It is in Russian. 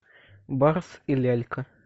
барс и лялька